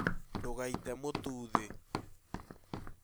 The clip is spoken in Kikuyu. Ndũgaite mũtu thĩ